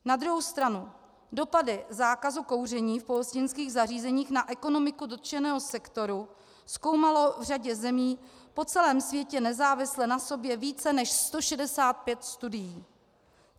Na druhou stranu dopady zákazu kouření v pohostinských zařízení na ekonomiku dotčeného sektoru zkoumalo v řadě zemí po celém světě nezávisle na sobě více než 165 studií.